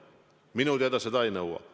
Minu teada seadus seda ei nõua.